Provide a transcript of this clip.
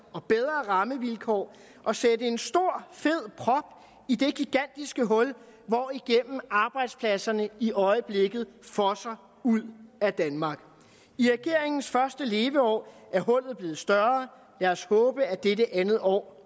og bedre rammevilkår at sætte en stor fed prop i det gigantiske hul hvorigennem arbejdspladserne i øjeblikket fosser ud af danmark i regeringens første leveår er hullet blevet større lad os håbe at dette andet år